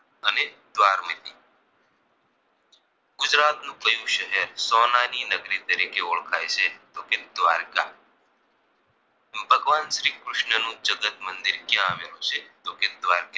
ગુજરાતનું કયું શહેર સોનાની નગરી તરીકે ઓળખાઈ છે તો કે દ્વારકા ભગવાન શ્રી કૃષ્ણ નું જગત મંદિર ક્યાં આવેલું છે તો કે દ્વારકા